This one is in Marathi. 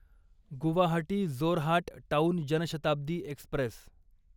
Guwahati Jorhat town Janshatabdi Express